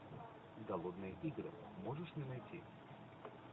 голодные игры можешь мне найти